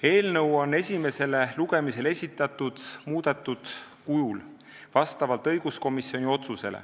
Eelnõu on õiguskomisjoni otsuse kohaselt esitatud esimesele lugemisele muudetud kujul.